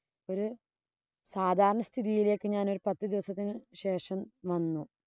ഒരു സാധാരണ സ്ഥിതിയിലേക്ക് ഞാന്‍ ഒരു പത്ത് ദിവസത്തിനു ശേഷം വന്നു.